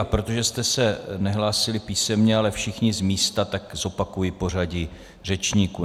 A protože jste se nehlásili písemně, ale všichni z místa, tak zopakuji pořadí řečníků.